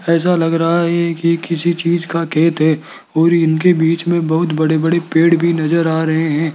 ऐसा लग रहा है ये कि किसी चीज का खेत है और इनके बीच में बहुत बड़े बड़े पेड़ भी नजर आ रहे हैं।